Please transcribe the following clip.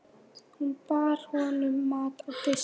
Hún bar honum mat á disk.